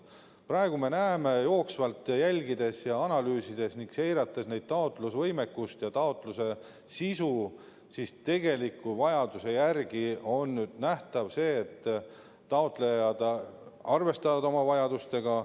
Praegu me näeme jooksvalt, jälgides ja analüüsides ning seirates kellegi taotlusvõimekust ja taotluse sisu, et mis puudutab tegelikku taotlusvajadust, siis taotlejad arvestavad oma vajadustega.